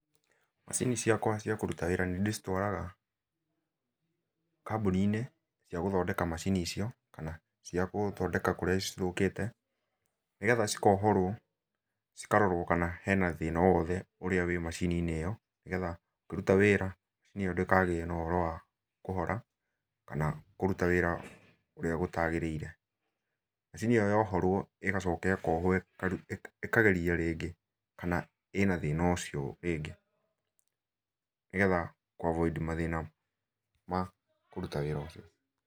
Macini ciakwa cia kũruta wĩra nĩndĩcitwaraga, ,kambũni-inĩ cia gũthondeka macini icio, kana ciagũthondeka kũrĩa cithũkĩte, nĩgetha cikohorwo cikarorwo kana hena thĩna o wothe ũrĩa wĩ macini-inĩ ĩyo, nĩgetha ĩkĩruta wĩra, macini ĩyo ndĩkagĩe na ũhoro wa kũhora kana kũruta wĩra ũrĩa gũtagĩrĩire. Macini ĩyo yohorwo ĩgacoka ĩkohwo ĩkageria rĩngĩ, kana ĩna thĩna ũcio rĩngĩ, nĩgetha kũavoid mathĩna ma kũruta wĩra ũcio.